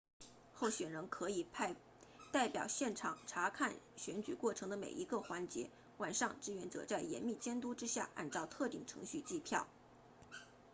候选人可以派代表现场察看选举过程的每一个环节晚上志愿者在严密监督之下按照特定程序计票